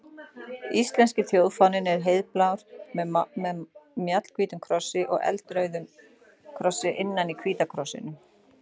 Íslenski þjóðfáninn er heiðblár með mjallhvítum krossi og eldrauðum krossi innan í hvíta krossinum.